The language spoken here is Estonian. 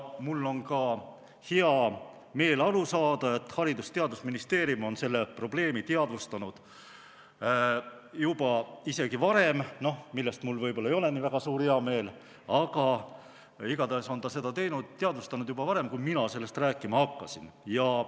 Mul on ka hea meel aru saada, et Haridus- ja Teadusministeerium on seda probleemi teadvustanud juba varem – noh, millest mul võib-olla ei ole nii väga suur heameel, aga igatahes on ta seda teinud, teadvustanud juba varem, kui mina sellest rääkima hakkasin.